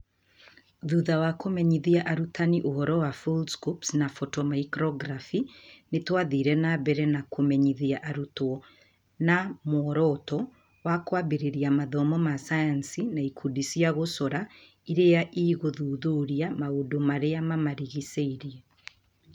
Thutha wa kũmenyithia arutani ũhoro wa Foldscopes na Photomicrography, nĩ twathire na mbere na kũmenyithia arutwo na muoroto wa kwambĩrĩria Mathomo ma Sayansi na ikundi cia gũcora iria igũthuthuria maũndũ marĩa mamarigicĩirie